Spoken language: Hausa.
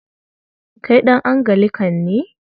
Kai ɗan Anglican ne?